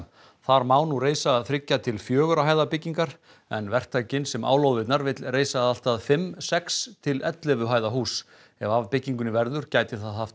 þar má nú reisa þriggja til fjögurra hæða byggingar en verktakinn sem á lóðirnar vill reisa allt að fimm sex til ellefu hæða hús ef af byggingunni verður gæti það haft